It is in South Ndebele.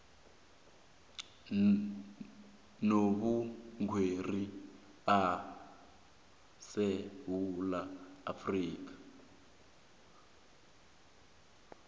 nobukghwari esewula afrika